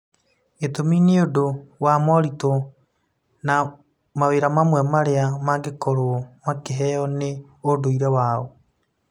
Gĩtũmi nĩ ũndũ wa moritũ na mawĩra mamwe marĩa mangĩkorũo makĩheo nĩ ũndũire wao.